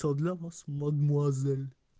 всё для вас мадемуазель